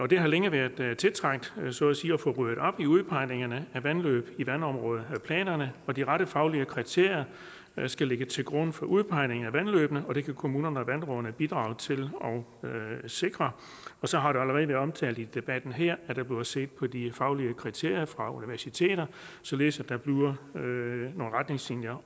det har længe været tiltrængt så at sige at få ryddet op i udpegningerne af vandløb i vandområdeplanerne de rette faglige kriterier skal ligge til grund for udpegningen af vandløbene og det kan kommunerne og vandrådene bidrage til at sikre og så har det allerede været omtalt i debatten her at der bliver set på de faglige kriterier af universiteter således at der bliver nogle retningslinjer